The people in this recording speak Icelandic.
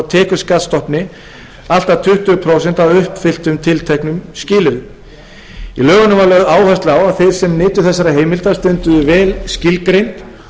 tekjuskattsstofni allt að tuttugu prósent að uppfylltum tilteknum skilyrðum í lögunum er lögð áhersla á að þeir sem nytu þessara heimilda stunduðu vel skilgreind